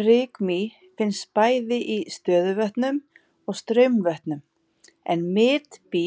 Rykmý finnst bæði í stöðuvötnum og straumvötnum en bitmý